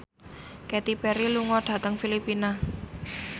Katy Perry lunga dhateng Filipina